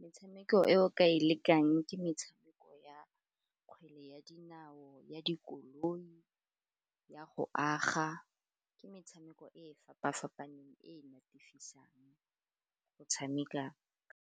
Metshameko e o ka e lekang ke metshameko ya kgwele ya dinao, ya dikoloi, ya go aga, ke metshameko e fapa-fapaneng e natefisang go tshameka.